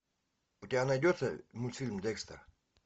у тебя найдется мультфильм декстер